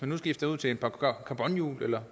man skifter til carbonhjul eller